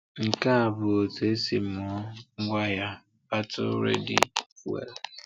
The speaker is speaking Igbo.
Nke a bụ otú e si mụọ ngwaahịa Battle Ready Fuel.